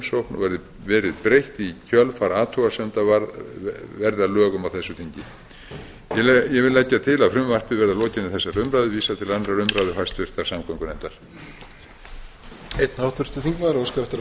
umsögn og verið breytt í kjölfar athugasemda verði að lögum á þessu þingi ég legg til að frumvarpinu verði að lokinni þessari umræðu vísað til annarrar umræðu og háttvirtrar umhverfis og samgöngunefndar